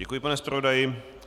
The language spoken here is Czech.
Děkuji, pane zpravodaji.